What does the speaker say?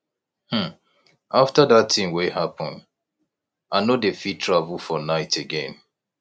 um after dat thing wey happen i no dey fit travel for night again